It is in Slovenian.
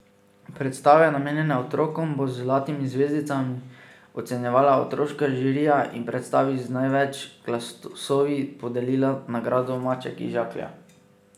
Predstave, namenjene otrokom, bo z zlatimi zvezdicami ocenjevala otroška žirija in predstavi z največ glasovi podelila nagrado maček iz žaklja.